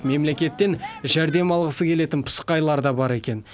мемлекеттен жәрдем алғысы келетін пысықайлар да бар екен